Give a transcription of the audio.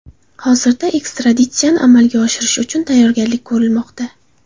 Hozirda ekstraditsiyani amalga oshirish uchun tayyorgarlik ko‘rilmoqda.